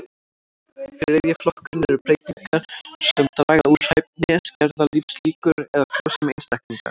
Þriðji flokkurinn eru breytingar sem draga úr hæfni, skerða lífslíkur eða frjósemi einstaklinga.